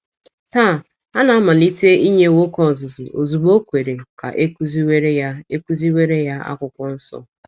Taa, a na - amalite inye nwoke ọzụzụ ozugbo o kwere ka ekuziwere ya ekuziwere ya akwụkwọ nso..